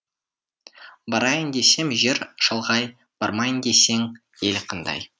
барайын десем жер шалғай бармайын десең ел қандай